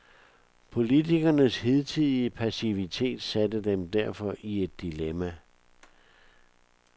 Politikernes hidtidige passivitet satte dem derfor i et dilemma.